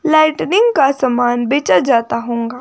Lightning का सामान बेचा जाता होंगा ।